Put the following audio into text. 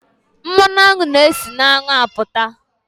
Mmanụ aṅụ na e si na aṅụ apụta.